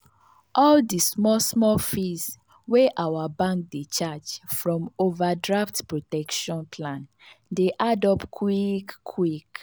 all the small-small fees wey our bank dey charge from overdraft protection plan dey add up quick quick.